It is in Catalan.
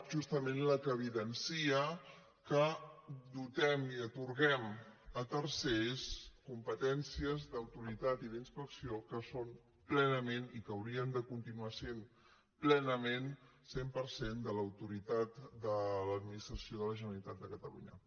justament la que evidencia que dotem i atorguem a tercers competències d’autoritat i d’inspecció que són plenament i que haurien de continuar sent plenament cent per cent de l’autoritat de l’administració de generalitat de catalunya